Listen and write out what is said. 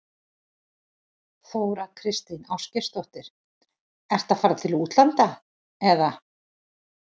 Þóra Kristín Ásgeirsdóttir: Ertu að fara til útlanda, eða?